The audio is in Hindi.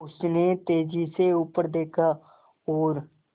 उसने तेज़ी से ऊपर देखा और